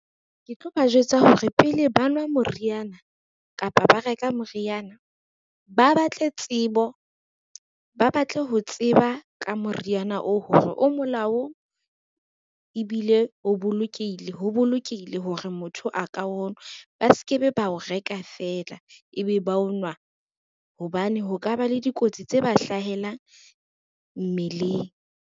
Ke tlo ba jwetsa hore pele ba nwa moriana kapa ba reka moriana, ba batle tsebo, ba batle ho tseba ka moriana oo hore o molaong, ebile ho bolokehile hore motho a ka o nwa. Ba ske be ba o reka fela ebe ba o nwa hobane ho ka ba le dikotsi tse ba hlahelang mmeleng.